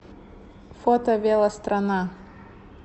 фото велострана